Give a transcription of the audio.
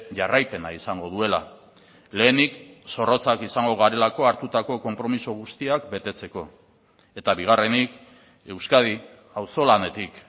jarraipena izango duela lehenik zorrotzak izango garelako hartutako konpromiso guztiak betetzeko eta bigarrenik euskadi auzolanetik